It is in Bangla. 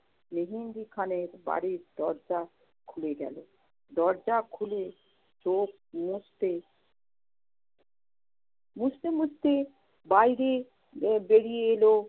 মেহেন্দি খানের বাড়ির দরজা খুলে গেল, দরজা খুলে চোখ মুছতে মুছতে মুছতে বাইরে আহ বেরিয়ে এলো।